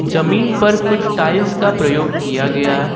जमीन पर कुछ टाइल्स का प्रयोग किया गया है।